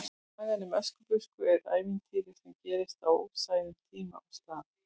Sagan um Öskubusku er ævintýri sem gerist á óræðum tíma og stað.